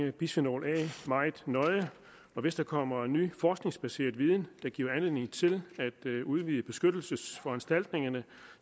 i bisfenol a meget nøje og hvis der kommer ny forskningsbaseret viden der giver anledning til at udvide beskyttelsesforanstaltningerne